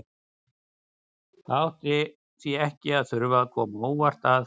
Það átti því ekki að þurfa að koma á óvart að